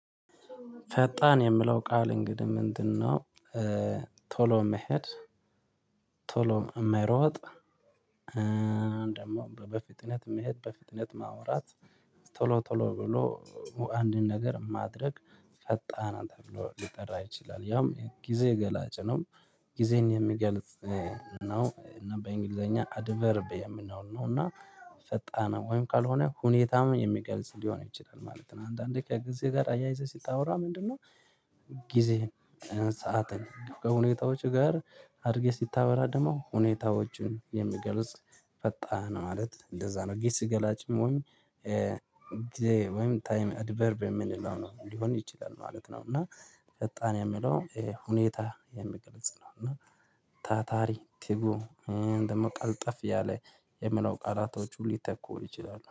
ፈጣን የምለው ቃል እንግዲህ ምንድነው? ቶሎ መሄድ ቶሎ የሚይሮጥ። ደግሞ በፍጥነት መሄድ በፍጥነት ማውራት። ቶሎ ቶሎ ብሎ አንድን ነገር ማድረግ ፈጣን አንተ ተብሎ ሊጠራ ይችላል ያም ጊዜ ገላጭ ነው። ጊዜን የሚገልጽ ነው እና በእንግሊዘኛ አድቨርብ የምናው ል ነው እና። ፈጣንም ወይም ካልሆነ ሁኔታም የሚገልጽ ሊሆን ይችላል ማለት ነው። አንዳንዴ ከጊዜ ጋር አያይዘህ ስታወራ ምንድነው? ጊዜ ሰዓትን ከሁኔታዎች ጋር አድርጌ ሲታወራ ደግሞ ሁኔታዎችን የሚገልጽ ፈጣን ማለት እንደዛ ነው። ግስ ገላጭም ወይም ጊዜ ወይም ታይም አድቨርብ የምንለው ነው ሊሆን ይችላል ማለት ነው። እና ፈጣን የምለው ሁኔታ የሚገልጽ ነው። እና ታታሪ ትጉ ደግሞ ቀልጠፍ ያለ የምለው ቃላቶቹ ሊተኩ ይችላሉ